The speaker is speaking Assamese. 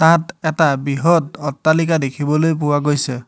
তাত এটা বৃহৎ অট্টালিকা দেখিবলৈ পোৱা গৈছে।